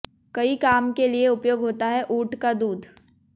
कई काम के लिए उपयोग होता है ऊंट का दूध